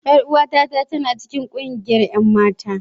Yar uwata tana cikin kungiyar 'yan mata.